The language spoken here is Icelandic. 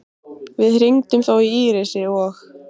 Við hringdum þó í Írisi og